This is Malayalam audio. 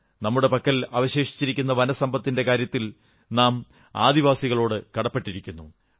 നമ്മുടെ പക്കൽ അവശേഷിച്ചിരിക്കുന്ന വനസമ്പത്തിന്റെം കാര്യത്തിൽ നാം ആദിവാസികളോടു കടപ്പെട്ടിരിക്കുന്നു